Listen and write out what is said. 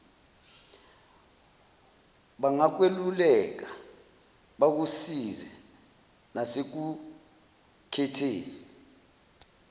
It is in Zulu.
bangakweluleka bakusize nasekukhetheni